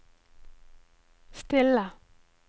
stille